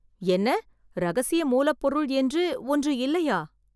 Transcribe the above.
என்ன இரகசிய மூலப் பொருள் என்று ஒன்னு இல்லையா!